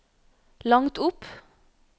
langt opp